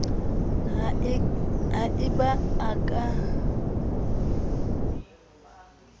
ha e ba a ka